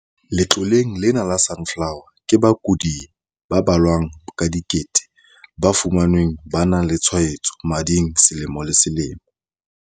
Letloleng lena la Sunflower, ke bakudi ba balwang ka dikete ba fumanwang ba na le tshwaetso mading selemo le selemo.